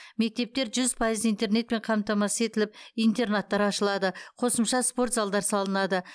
мектептер жүз пайыз интернетпен қамтамасыз етіліп интернаттар ашылады қосымша спорт залдар салынады